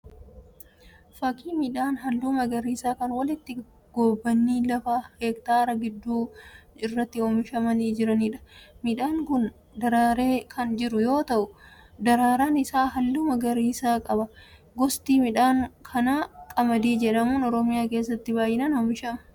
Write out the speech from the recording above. Fakkii midhaan halluu magariisaa kan walitti gobbanii lafa hektaara gidduu irratti oomishamanii jiraniidha. Midhaan kun daraaree kan jiru yoo ta'udaraaraan isaa halluu magariisa qaba. Gosti midhaan kanaa kan qamadii jedhamu Oromiyaa keessatti baayinaan oomishamuudha.